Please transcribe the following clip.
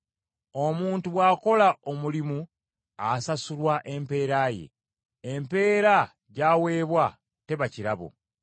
Omuntu bw’akola omulimu, asasulwa empeera ye. Empeera gy’aweebwa, teba kirabo.